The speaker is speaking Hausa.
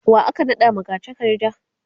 wa aka naɗa magatakarda?